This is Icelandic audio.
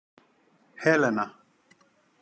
Helena